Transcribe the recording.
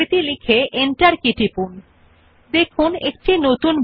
সুতরাং numbering type style দেত্তয়া দ্বিতীয় স্টাইল উপর আমাদের অধীনে ক্লিক করুন